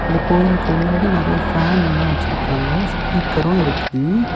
இந்த கோயிலுக்கு உள்ளடி நெறைய பேன் எல்லா வச்சிருக்காங்க. ஸ்பீக்கரும் இருக்குது.